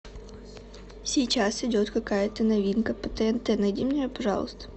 сейчас идет какая то новинка по тнт найди мне ее пожалуйста